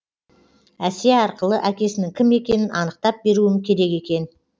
әсия арқылы әкесінің кім екенін анықтап беруім керек екен